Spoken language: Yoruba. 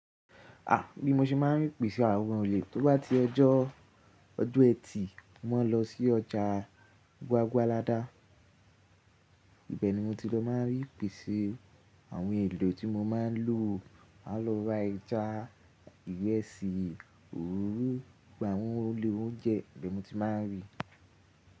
À, bí mo ṣe máà ń pèsè àwọn olè. Tó bá ti ọjọ́ ọjọ́ ẹtì mó maa ń lọ sí ọjà Gbagualada. Ibẹ̀ ni mo ti lọ máà ń rí ìpèsè àwọn èlò tí mo máa ń lò. A lọ ra ẹja, ìrẹsì, òróró, gbà wọ́n èlò oúnjẹ ibẹ̀ ni mo ti máa ń rí.